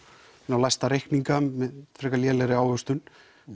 læsta reikninga með frekar lélegri ávöxtun